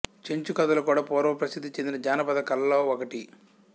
చెంచుల కథలు కూడా పూర్వం ప్రసిద్ధి చెందిన జానపద కళల్లో ఒకటి